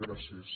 gràcies